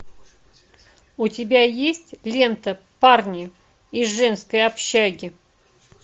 у тебя есть лента парни из женской общаги